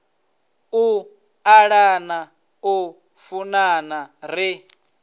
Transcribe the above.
u ṱalana u funana ri